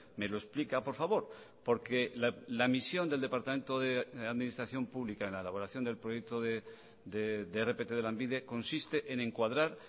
me lo explica por favor porque la misión del departamento de administración pública en la elaboración del proyecto de rpt de lanbide consiste en encuadrar